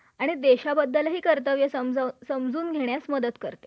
अच्छा ठीक आहे, मी माझा विमा